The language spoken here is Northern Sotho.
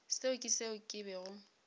seo ke seo ke bego